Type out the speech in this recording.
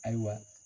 Ayiwa